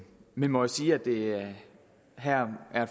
må sige at det her er